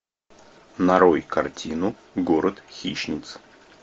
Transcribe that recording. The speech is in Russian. нарой картину город хищниц